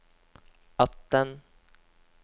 atten